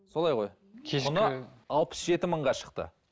солай ғой алпыс жеті мыңға шықты